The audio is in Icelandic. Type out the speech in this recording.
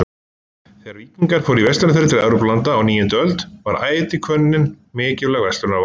Þegar víkingar hófu verslunarferðir til Evrópulanda á níundu öld var ætihvönnin mikilvæg verslunarvara.